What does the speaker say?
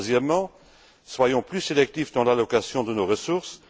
Troisièmement, soyons plus sélectifs dans l'allocation de nos ressources.